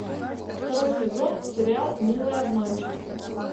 второй сезон сериал милые обманщицы